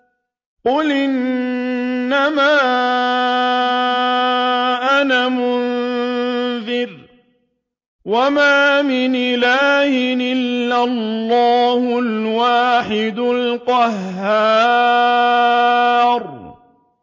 قُلْ إِنَّمَا أَنَا مُنذِرٌ ۖ وَمَا مِنْ إِلَٰهٍ إِلَّا اللَّهُ الْوَاحِدُ الْقَهَّارُ